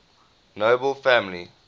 nobel family